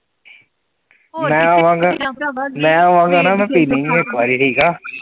ਹੋਰ ਕਿਸੇ ਮੈਂ ਆਵਾਂਗਾ, ਮੈਂ ਆਵਾਂਗਾ ਨਾ ਇਕ ਵਾਰੀ ਠੀਕ ਆ